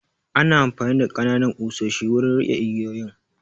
Ana amfani da ƙananan ƙusoshi wurin riƙe igiyoyin